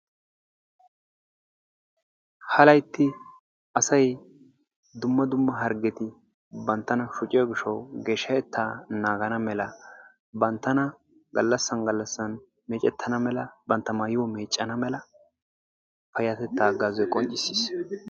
Ha laytti asay dumma dumma harggeti banttana shoocciyoo giidhdhawu geeshshatettaa naagana mala banttana gallassan gallasan meccana mala bantta maayuwaa meeccana mala payatettaa hagaazzoy qonccisiis.